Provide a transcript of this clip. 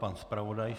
Pan zpravodaj.